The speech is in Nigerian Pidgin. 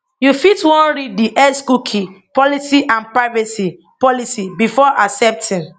you fit wan read di x cookie policy and privacy policy before accepting